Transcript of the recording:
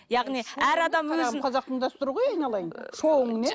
яғни әр адам өзін қазақтың дәстүрі ғой айналайын шоуың не